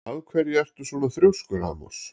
Af hverju ertu svona þrjóskur, Amos?